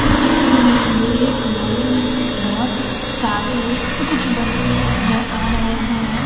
इस चित्र में लोहे के बहोत सारे कुछ बने हुए नजर आ रहे हैं।